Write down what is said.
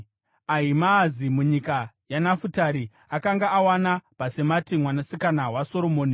Ahimaazi, munyika yaNafutari (akanga awana Bhasemati mwanasikana waSoromoni);